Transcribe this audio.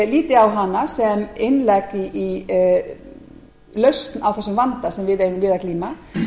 líti á hana sem innlegg í lausn á þessum vanda sem við eigum við að glíma